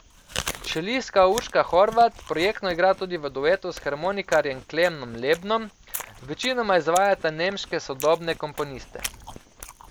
Čelistka Urška Horvat projektno igra tudi v duetu s harmonikarjem Klemnom Lebnom, večinoma izvajata nemške sodobne komponiste.